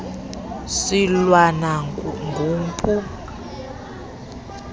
silwana gumpu u